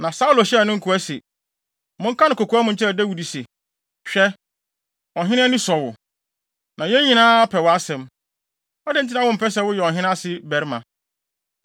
Na Saulo hyɛɛ ne nkoa se, “Monka no kokoa mu nkyerɛ Dawid se, ‘Hwɛ, ɔhene ani sɔ wo, na yɛn nyinaa pɛ wʼasɛm. Adɛn nti na wompɛ sɛ woyɛ ɔhene ase barima?’ ”